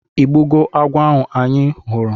ịgbugo agwọ ahụ anyị fụrụ?